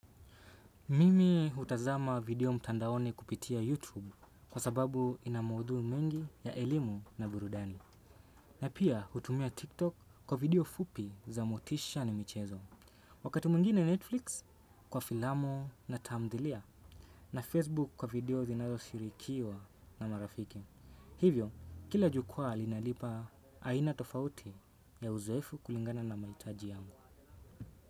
Mimi hutazama video mtandaoni kupitia YouTube kwa sababu ina maudhui mengi ya elimu na burudani. Na pia hutumia TikTok kwa video fupi za motisha na michezo. Wakati mwingine Netflix kwa filamu na tamthilia na Facebook kwa video zinazo shirikiwa na marafiki. Hivyo, kila jukwaa linanipa aina tofauti ya uzoefu kulingana na mahitaji yangu.